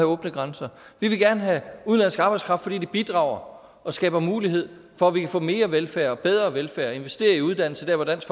åbne grænser vi vil gerne have udenlandsk arbejdskraft fordi den bidrager og skaber mulighed for at vi kan få mere velfærd og bedre velfærd og investere i uddannelse der hvor dansk